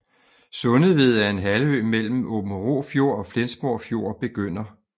Sundeved er en halvø mellem Aabenraa Fjord og Flensborg Fjord begynder